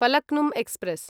Falaknuma express